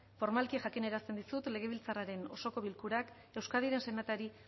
formalki jakinarazten dizut legebiltzarraren osoko bilkurak euskadiren senatari